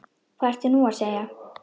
Hvað ertu nú að segja?